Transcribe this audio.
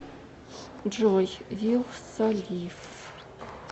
джой вилса лив